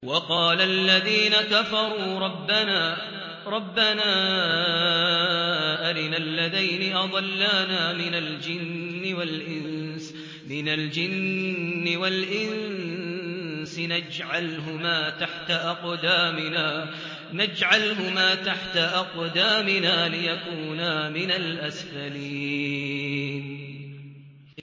وَقَالَ الَّذِينَ كَفَرُوا رَبَّنَا أَرِنَا اللَّذَيْنِ أَضَلَّانَا مِنَ الْجِنِّ وَالْإِنسِ نَجْعَلْهُمَا تَحْتَ أَقْدَامِنَا لِيَكُونَا مِنَ الْأَسْفَلِينَ